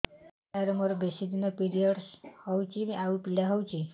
ସାର ମୋର ବେଶୀ ଦିନ ପିରୀଅଡ଼ସ ହଉଚି ଆଉ ପୀଡା ହଉଚି